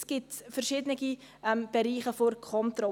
Es gibt verschiedene Bereiche der Kontrolle.